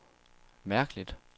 mærkeligt